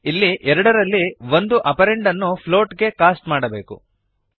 ಇಲ್ಲಿ ಎರಡರಲ್ಲಿ ಒಂದು ಆಪರಂಡ್ ಅನ್ನು ಫ್ಲೋಟ್ ಗೆ ಕಾಸ್ಟ್ ಮಾಡಬೇಕು